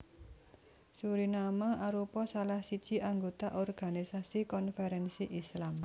Suriname arupa salah siji anggota Organisasi Konferensi Islam